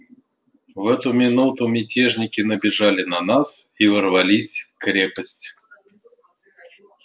в эту минуту мятежники набежали на нас и ворвались в крепость